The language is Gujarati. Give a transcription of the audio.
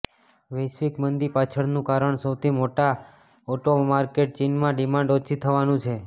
વૈશ્વિક મંદી પાછળનું કારણ સૌથી મોટા ઓટો માર્કેટ ચીનમાં ડિમાન્ડ ઓછી થવાનું છે